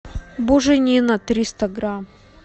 буженина триста грамм